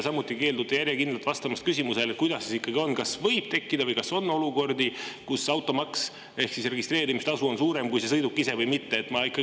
Samuti keeldute järjekindlalt vastamast küsimusele, kuidas siis ikkagi on, kas võib tekkida või on olukordi, kus automaks ehk registreerimistasu on suurem kui selle sõiduki ise, või mitte.